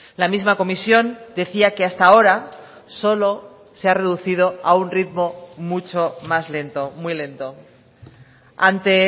la misma comisión decía que hasta ahora solo se ha reducido a un ritmo mucho más lento muy lento ante